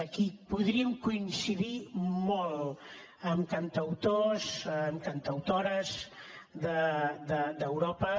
aquí podríem coincidir molt amb cantautors amb cantautores d’europa